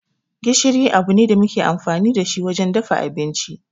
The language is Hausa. Gishiri abu ne da muke amfani da shi wajen dafa abinci.